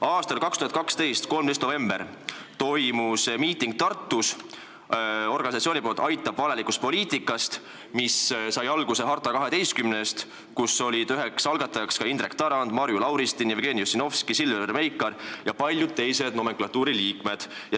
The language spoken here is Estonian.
13. novembril aastal 2012 toimus Tartus miiting, mille korraldas organisatsioon "Aitab valelikust poliitikast", mis sai alguse "Harta 12-st", mille algatajad olid ka Indrek Tarand, Marju Lauristin, Jevgeni Ossinovski, Silver Meikar ja paljud teised nomenklatuuri liikmed.